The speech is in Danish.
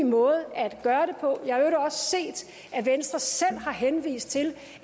måde at gøre at venstre også selv har henvist til